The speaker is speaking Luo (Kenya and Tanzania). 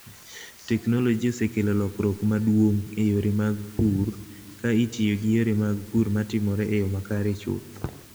Teknoloji osekelo lokruok maduong' e yore mag pur ka itiyo gi yore mag pur matimore e yo makare chuth.